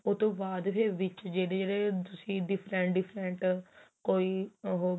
ਉਹ ਤੋ ਬਾਅਦ ਫ਼ੇਰ ਵਿੱਚ ਜਿਹੜੇ ਜਿਹੜੇ ਤੁਸੀਂ different different ਕੋਈ ਉਹ